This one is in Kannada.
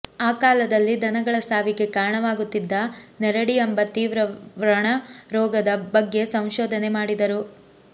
ಆ ಕಾಲದಲ್ಲಿ ದನಗಳ ಸಾವಿಗೆ ಕಾರಣವಾಗುತ್ತಿದ್ದ ನೆರಡಿ ಎಂಬ ತೀವ್ರ ವ್ರಣ ರೋಗದ ಬಗ್ಗೆ ಸಂಶೋಧನೆ ಮಾಡಿದರು